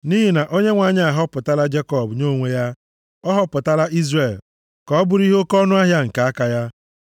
Nʼihi na Onyenwe anyị ahọpụtala Jekọb nye onwe ya, ọ họpụtala Izrel ka ọ bụrụ ihe oke ọnụahịa nke aka ya.